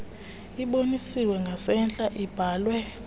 ibonisiwe ngasentla ibhalwe